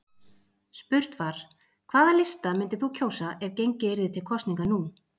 Spurt var: hvaða lista myndir þú kjósa ef gengið yrði til kosninga nú?